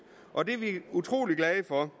og det er vi utrolig glade for